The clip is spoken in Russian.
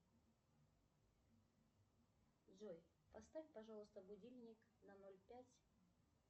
джой поставь пожалуйста будильник на ноль пять